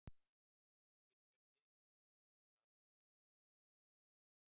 Í því tilfelli er hann þá klárlega hærra settur en flotaforingi.